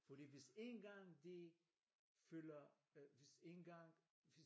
Fordi hvis én gang de føler øh hvis én gang